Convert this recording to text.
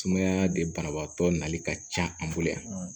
Sumaya de banabaatɔ nali ka ca an bolo yan